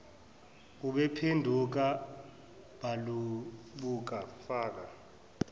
baphenduka balibuka bafa